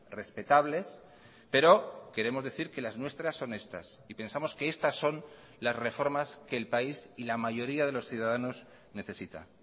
respetables pero queremos decir que las nuestras son estas y pensamos que estas son las reformas que el país y la mayoría de los ciudadanos necesita